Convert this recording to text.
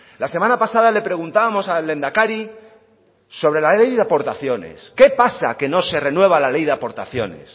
la semana pasada le preguntábamos al lehendakari sobre la ley de aportaciones qué pasa que no se renueva la ley de aportaciones